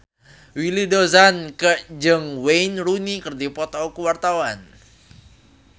Willy Dozan jeung Wayne Rooney keur dipoto ku wartawan